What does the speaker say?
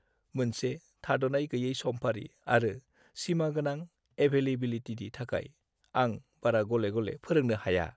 मोनसे थाद'नाय-गैयै समफारि आरो सिमागोनां एभैलेबिलिटिनि थाखाय, आं बारा गले-गले फोरोंनो हाया।